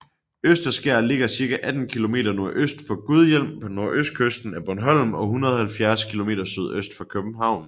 Østerskær ligger cirka 18 km nordøst for Gudhjem på nordøstkysten af Bornholm og 170 km sydøst for København